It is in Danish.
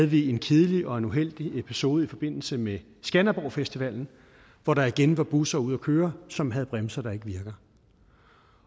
vi en kedelig og uheldig episode i forbindelse med skanderborg festival hvor der igen var busser ude at køre som havde bremser der ikke virkede